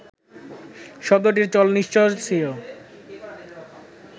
শব্দটির চল নিশ্চয় ছিল